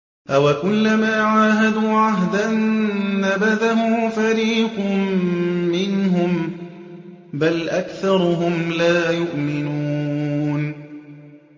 أَوَكُلَّمَا عَاهَدُوا عَهْدًا نَّبَذَهُ فَرِيقٌ مِّنْهُم ۚ بَلْ أَكْثَرُهُمْ لَا يُؤْمِنُونَ